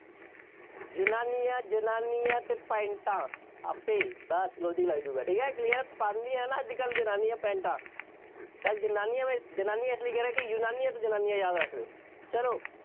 ਯੂਨਾਨੀਆ, ਜਨਾਨੀਆਂ ਅਤੇ ਪੈਂਟਾ ਆਪੇ ਬਸ logic ਲੱਗ ਜਾਊਗਾ, ਠੀਕ ਹੈ, clear ਪਾਂਦੀਆਂ ਹੈ ਨਾ ਅੱਜ ਕੱਲ੍ਹ ਜਨਾਨੀਆਂ ਪੈਂਟਾਂ, ਤਾਂ ਯੂਨਾਨੀਆਂ ਨੂੰ ਜਨਾਨੀਆਂ ਇਸ ਲਈ ਕਹਿ ਕਿ ਯੂਨਾਨੀਆਂ ਤੋਂ ਜਨਾਨੀਆਂ ਯਾਦ ਰੱਖ ਲਉ, ਚੱਲੋ।